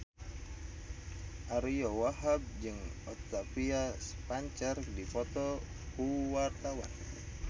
Ariyo Wahab jeung Octavia Spencer keur dipoto ku wartawan